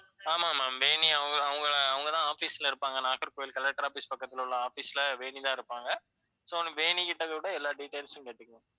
ஆமா ma'am. வேணி அவங்க தான் office ல இருப்பாங்க. நாகர்கோவில் collector office பக்கத்துல உள்ள office ல வேணி தான் இருப்பாங்க. so வேணிக்கிட்டக்கூட எல்லா details உம் கேட்டுக்கோங்க.